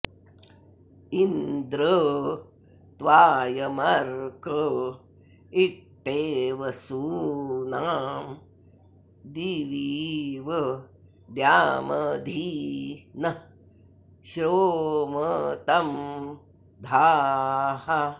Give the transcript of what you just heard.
इन्द्र॑ त्वा॒यम॒र्क ई॑ट्टे॒ वसू॑नां दि॒वी॑व॒ द्यामधि॑ नः॒ श्रोम॑तं धाः